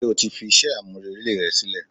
ṣe o ti fi iṣẹ a-mú-relé rẹ silẹ?